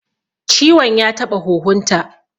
Ciwon ya taɓa huhun ta